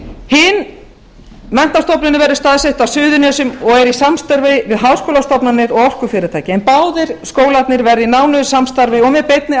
hin menntastofnunin verður staðsett á suðurnesjum og er í samstarfi við háskólastofnanir og orkufyrirtæki en báðir skólarnir verða í nánu samstarfi og með beinni